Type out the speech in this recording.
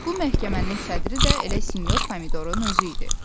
Bu məhkəmənin sədri də elə sinyor Pomidorun özü idi.